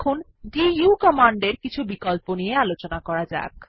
এখন দু কমান্ডের কিছু বিকল্প নিয়ে আলোচনা করা যাক